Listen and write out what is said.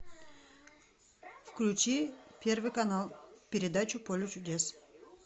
включи первый канал передачу поле чудес